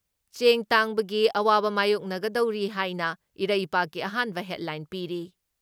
ꯆꯦꯡ ꯇꯥꯡꯕꯒꯤ ꯑꯋꯥꯕ ꯃꯥꯏꯌꯣꯛꯒꯗꯧꯔꯤ ꯍꯥꯏꯅ ꯏꯔꯩꯕꯥꯛꯀꯤ ꯑꯍꯥꯟꯕ ꯍꯦꯠꯂꯥꯏꯟ ꯄꯤꯔꯤ ꯫